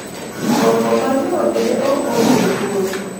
gombo ma joode ne ok omiyo luor,